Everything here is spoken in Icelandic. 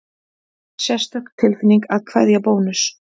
Sérstök tilfinning að kveðja Bónus